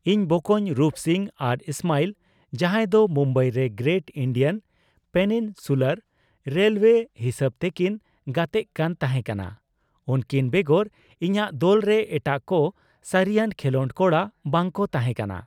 ᱤᱧ ᱵᱚᱠᱚᱧ ᱨᱩᱯᱥᱤᱝ ᱟᱨ ᱤᱥᱢᱟᱭᱤᱞ, ᱡᱟᱸᱦᱟᱭ ᱫᱚ ᱢᱩᱢᱵᱟᱭ ᱨᱮ ᱜᱨᱮᱴ ᱤᱱᱰᱤᱭᱟᱱ ᱯᱮᱱᱤᱱᱥᱩᱞᱟᱨ ᱨᱮᱞᱳᱭᱮ ᱦᱤᱥᱟᱹᱵ ᱛᱮᱠᱤᱱ ᱜᱟᱛᱮᱜ ᱠᱟᱱ ᱛᱟᱸᱦᱮ ᱠᱟᱱᱟ ᱾ ᱩᱱᱠᱤᱱ ᱵᱮᱜᱚᱨ ᱤᱧᱟᱜ ᱫᱚᱞ ᱨᱮ ᱮᱴᱟᱜ ᱠᱚ ᱥᱟᱹᱨᱤᱭᱟᱱ ᱠᱷᱮᱞᱳᱰ ᱠᱚᱲᱟ ᱵᱟᱝ ᱠᱚ ᱛᱟᱸᱦᱮ ᱠᱟᱱᱟ ᱾